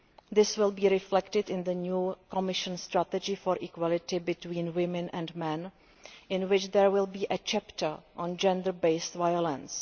This will be reflected in the new Commission strategy for equality between women and men, in which there will be a chapter on gender based violence.